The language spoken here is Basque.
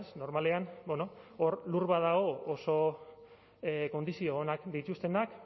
normalean hor lur badago oso kondizio onak dituztenak